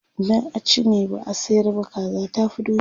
idan a ci ne, ba a sayar ba, kaza tafi doki